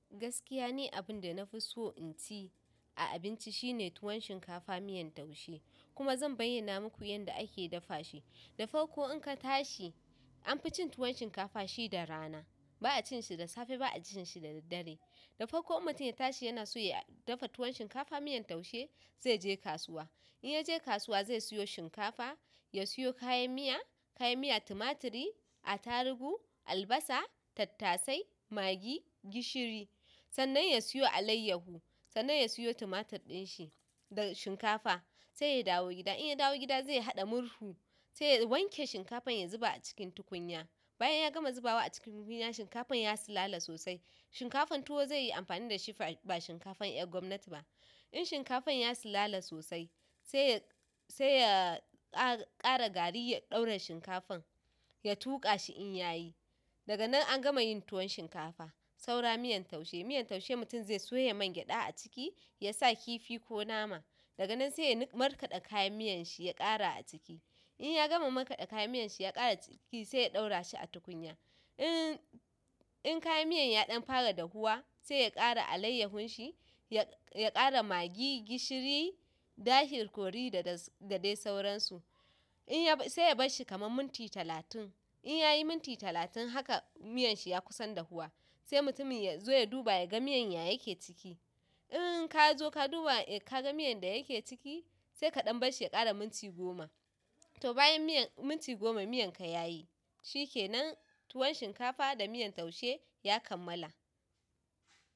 Gaskiya ni abin da na fi so in ci. A abinci shine tuwon shinkafa miyan taushe kuma zan bayyana muku yanda ake dafa shi. Da farko in ka tashi an fi cin tuwon shinkafa shi da rana. Ba'a cin shi da safe ba'a ci shi da daddare. Da farko mutum ya tashi yana so ya dafa tuwon shinkafa miyan taushe, zai je kasuwa. In ya je kasuwa zai siyo shinkafa, ya siyo kayan miya, kayan miya tumaturi, atarugu, albasa, tattasai, magi, gishiri. Sannan ya siyo alayyahu, sannan ya siyo tumatur din shi da shinkafa. Sai ya dawo gida. In ya dawo gida zai haɗa murhu sai ya wanke shinkafan ya zuba a cikin tukunya. Bayan yagama zubawa a cikin tukunya shinkafan ya sulala sosai. Shinkafan tuwo zai yi amfani da shi ba shinkafan ƴan gwamnati ba. In shinkafar ya sulala sosai sai ya sai ya ƙara gari ya ɗora shin kafar ya tuƙashi in yayi. Daga nan an gama yin tuwon shinkafa. Saura miyan taushe. Miyar taushe mutum zai soya mangyaɗa a ciki, ya sa kifi ko nama. Daga nan sai ya niƙa markaɗa kayan miyan shi ya ƙara a ciki. In ya gama markaɗa kayan miyan shi ya ƙara a ciki sai ya ɗaura shi a tukunya. In, in kayan miyan ya ɗan fara dahuwa sai ya ƙara alayyahun shi, ya ƙara magi, gishiri, dashir kori da dai sauransu. In ya-- sai ya bar shi kamar minti talatin. In ya yi minti talatin haka miyan shi ya kusan dahuwa sai mutumin ya zo ya duba ya ga miyan ya yake ciki. In ka zo ka duba ka ga miyan da yake ciki sai ka ɗan bar shi ya ƙara minti goma. To bayan miyan-- minti goma miyan ka ya yi. Shikenan tun shinkafa da miyan taushe yakammala.